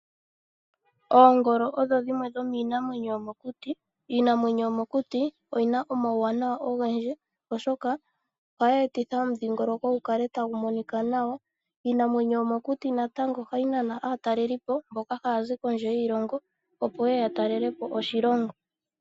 Oongolo odho dhimwe dhomiinamwenyo yomokuti. Iinamwenyo yomokuti oyina omawuwanawa ogendji oshoka ohayi etitha omudhiingoloko gukale tagumonika nawa. Iinamwenyo yomokuti natango ohayi nana aatakelipo mboka hayazi kondje yiilongo opo yeye yatalele po oshilongo.